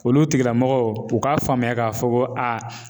Olu tigilamɔgɔw u k'a faamuya k'a fɔ ko a.